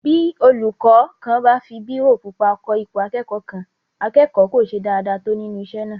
Bí olúkọ́ kan bá fi bírò pupa kọ ipò akẹ́kọ̀ọ́ kan, akẹ́kọ̀ọ́ kò ṣe dáadáa tó nínú isé náà